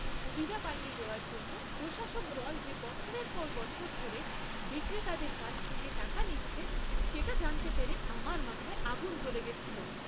সুবিধা পাইয়ে দেওয়ার জন্য প্রশাসক দল যে বছরের পর বছর ধরে বিক্রেতাদের কাছ থেকে টাকা নিচ্ছে, সেটা জানতে পেরে আমার মাথায় আগুন জ্বলে গেছিল।